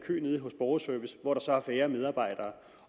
borgerservice hvor der så er færre medarbejdere